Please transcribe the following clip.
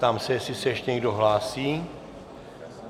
Ptám se, jestli se ještě někdo hlásí.